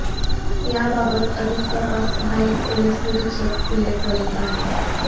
याबाबत अधिक तपास सहाय्यक पोलीस निरीक्षक हुले करीत आहेत